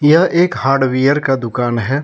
यह एक हार्डवेयर का दुकान है।